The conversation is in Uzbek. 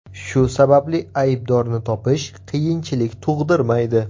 Shu sababli aybdorni topish qiyinchilik tug‘dirmaydi.